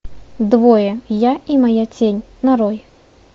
двое я и моя тень нарой